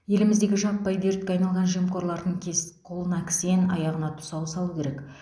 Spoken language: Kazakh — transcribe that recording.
еліміздегі жаппай дертке айналған жемқорлардың кес қолына кісен аяғына тұсау салу керек